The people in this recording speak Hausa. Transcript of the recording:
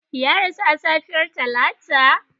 Ya rasu a safiyar Talata.